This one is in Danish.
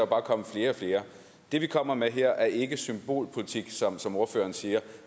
bare komme flere og flere det vi kommer med her er ikke symbolpolitik som som ordføreren siger